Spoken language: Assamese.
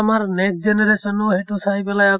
আমাৰ next generation ও সেইটো চাই পেলাই আকৌ